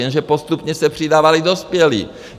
Jenže postupně se přidávali dospělí.